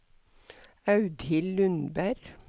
Audhild Lundberg